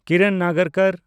ᱠᱤᱨᱚᱱ ᱱᱟᱜᱟᱨᱠᱚᱨ